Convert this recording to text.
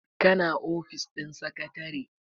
kana ofis ɗin sakatare?